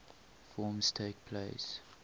forms takes place